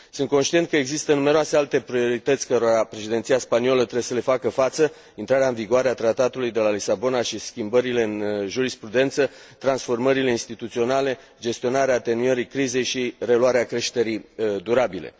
Sunt conștient că există numeroase alte priorități cărora președinția spaniolă trebuie să le facă față intrarea în vigoare a Tratatului de la Lisabona și schimbările în jurisprudență, transformările instituționale, gestionarea atenuării crizei și reluarea creșterii durabile.